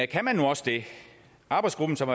kan man nu også det arbejdsgruppen som